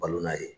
Balona ye